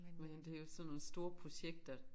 Men det jo sådan nogle store projekter